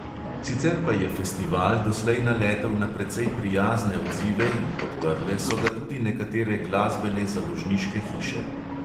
Sicer pa je festival doslej naletel na precej prijazne odzive in podprle so ga tudi nekatere glasbene založniške hiše.